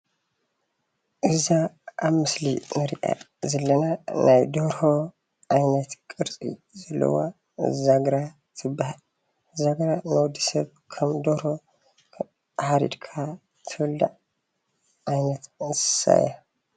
እዛ ኣብ ምስሊ እንሪኣ ዘለና ናይ ደርሆ ዓይነት ቅርፂ ዘለዋ ዛግራ ትባሃል፡፡ ዛግራ ንወዲ ሰብ ከም ደርሆ ሓሪድካ ትብላዕ ዓይነት እንስሳ እያ፡፡